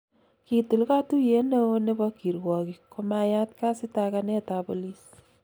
kitil katuyiet neoo nebo kirwokik komayat kasitakanetab polis